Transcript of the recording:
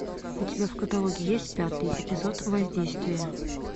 у тебя в каталоге есть пятый эпизод воздействие